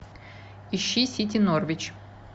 ищи сити норвич